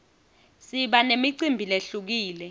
siba nemicimbi lehlukile